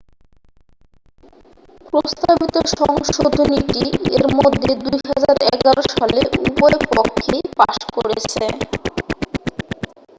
প্রস্তাবিত সংশোধনীটি এর মধ্যে 2011 সালে উভয় পক্ষেই পাশ করেছে